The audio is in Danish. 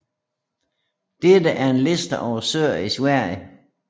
Dette er en Liste over søer i Sverige